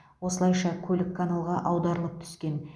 осылайша көлік каналға аударылып түскен